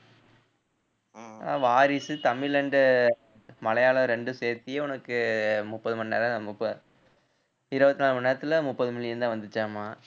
வாரிசு தமிழ் and மலையாளம் ரெண்டும் சேர்த்தியே உனக்கு முப்பது மணி நேரம் முப்ப~ இருபத்தி நாலு மணி நேரத்துல முப்பது million தான் வந்துச்சாமா